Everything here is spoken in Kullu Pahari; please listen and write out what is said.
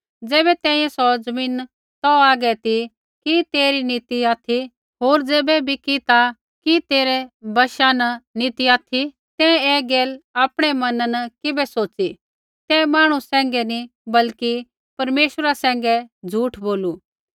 ज़ैबै तैंईंयैं सौ ज़मीन तौ हागै ती कि तेरी नी ती ऑथि होर ज़ैबै बिकी ता कि तेरै वशा न नी ती ऑथि तैं ऐ गैल आपणै मना न किबै सोच़ी तैं मांहणु सैंघै नी बल्कि परमेश्वरा सैंघै झ़ूठ बोलू